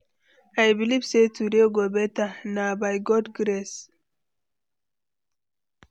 I believe sey today go beta, na by God grace.